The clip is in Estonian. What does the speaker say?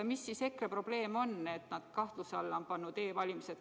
Mis siis EKRE probleem on, et nad on e-valimised kahtluse alla pannud?